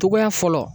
Togoya fɔlɔ